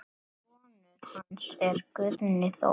Sonur hans er Guðni Þór.